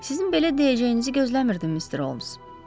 Sizin belə deyəcəyinizi gözləmirdim, Mister Holmes.